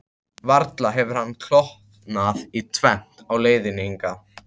Varla hefur hann klofnað í tvennt á leiðinni hingað?